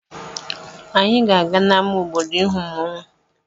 Anyị ga-aga n'ama obodo ịhụ mmọnwụ.